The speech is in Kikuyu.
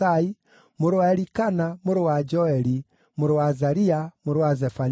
mũrũ wa Elikana, mũrũ wa Joeli, mũrũ wa Azaria, mũrũ wa Zefania,